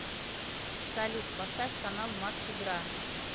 салют поставь канал матч игра